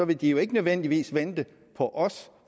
de jo ikke nødvendigvis vente på os